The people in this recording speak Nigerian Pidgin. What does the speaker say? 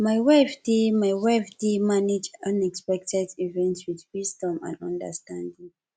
my wife dey my wife dey manage unexpected events with wisdom and understanding